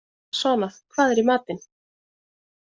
Svana, hvað er í matinn?